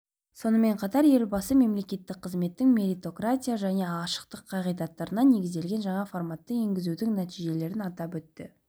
сонымен қатар елбасы мемлекеттік қызметтің меритократия және ашықтық қағидаттарына негізделген жаңа форматын енгізудің нәтижелерін атап өтті